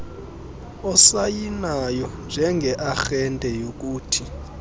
osayinayo njengearhente yokuthi